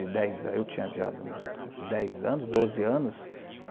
de dez. Eu tinha já uns uns dez anos, doze anos.